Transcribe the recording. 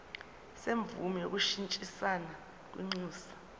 semvume yokushintshisana kwinxusa